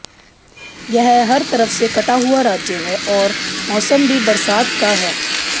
यह हर तरफ से कटा हुआ राज्य है और मौसम भी बरसात का है